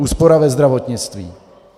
Úspora ve zdravotnictví.